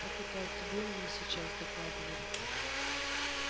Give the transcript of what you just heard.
так это о тебе мне сейчас докладывали